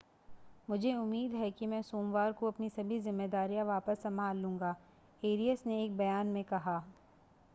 मुझे उम्मीद है कि मैं सोमवार को अपनी सभी ज़िम्मेदारियां वापस संभाल लूंगा एरियस ने एक बयान में कहा